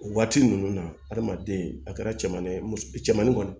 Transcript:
O waati ninnu na adamaden a kɛra cɛmanen ye muso cɛmanin kɔni